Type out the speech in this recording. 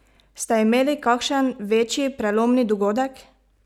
Ste imeli kakšen večji prelomni dogodek?